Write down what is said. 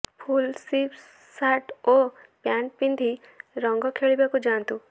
ଫୁଲ୍ sleeve shirt ଓ pant ପିନ୍ଧି ରଙ୍ଗ ଖେଳିବାକୁ ଯାଆନ୍ତୁ